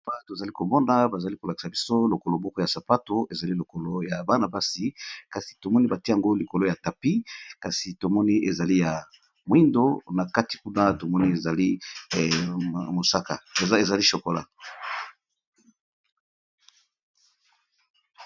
Awa tozali komona bazali ko lakisa biso lokolo moko ya sapato ezali lokolo ya bana basi, kasi tomoni batie yango likolo ya tapi kasi tomoni ezali ya mwindo na kati nkuna tomoni ezali chokola.